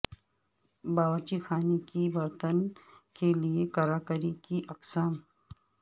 باورچی خانے کے برتن کے لئے کراکری کی اقسام